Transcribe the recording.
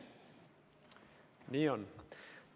Nii on.